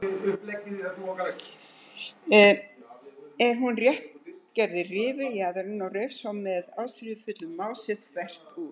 Eða hún rétt gerði rifu í jaðarinn og reif svo með ástríðufullu mási þvert út.